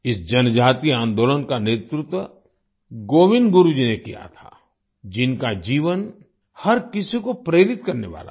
इस जनजातीय आन्दोलन का नेतृत्व गोविन्द गुरु जी ने किया था जिनका जीवन हर किसी को प्रेरित करने वाला है